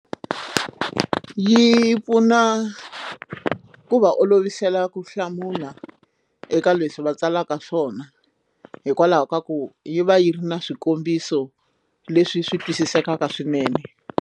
Yi pfuna ku va olovisela ku hlamula eka leswi va tsalaka swona hikwalaho ka ku yi va yi ri na swikombiso leswi swi twisisekaka swinene.